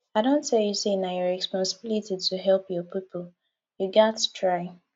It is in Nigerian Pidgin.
i don tell you sey na your responsibility to help your pipo you gats try